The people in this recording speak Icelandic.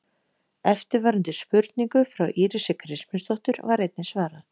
Eftirfarandi spurningu frá Írisi Kristmundsdóttur var einnig svarað: